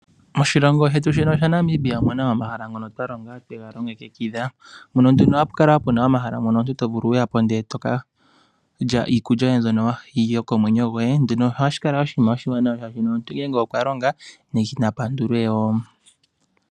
Moshilongo shetu shino shaNamibia omu na omahala ngono twa longa twega longekidhwa. Mono nduno hapu kala omahala ngono omuntu to vulu okuya po ndele to ka lya iikulya yoye mbyono yokomwenyo goye. Nduno ohashi kala oshinima oshiwanawa shaashi omuntu ngele okwa longa nena pandulwe wo.